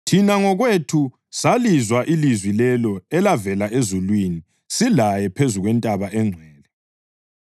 Thina ngokwethu salizwa ilizwi lelo elavela ezulwini silaye phezu kwentaba engcwele.